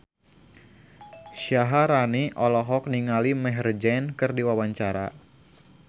Syaharani olohok ningali Maher Zein keur diwawancara